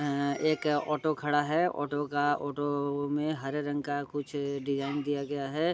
ए एक ऑटो खड़ा है ऑटो का ऑटो में हरे रंग का कुछ डिज़ाइन दिया गया है ।